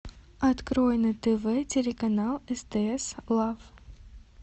открой на тв телеканал стс лав